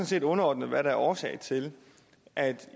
set underordnet hvad der er årsag til at